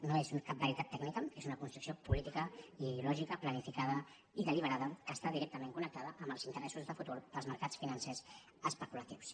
no és cap veritat tècnica és una construcció política i ideològica planificada i deliberada que està directament connectada amb els interessos de futur dels mercats financers especulatius